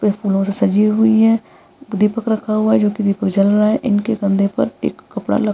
एक मूरत सजी हुई हैं दीपक रखा हुआ है जो की दीपक जल रहा है इनके कंधे पर एक कपड़ा ल --